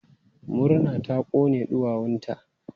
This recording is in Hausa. Murna ta kone ɗuwawunta.